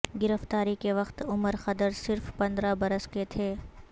گرفتاری کے وقت عمر خدر صرف پندرہ برس کے تھے